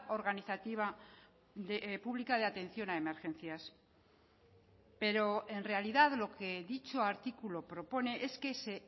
organizativa pública de atención a emergencias pero en realidad lo que dicho artículo propone es que se